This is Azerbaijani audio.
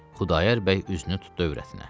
Xudayar bəy üzünü tutdu övrətinə.